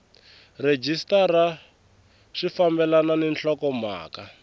rhejisitara swi fambelani ni nhlokomhaka